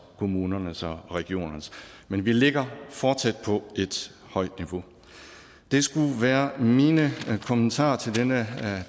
kommunernes og regionernes men vi ligger fortsat på et højt niveau det skulle være mine kommentarer til denne